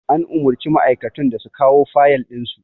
An umurci ma'aikatun da su kawo fayal ɗin su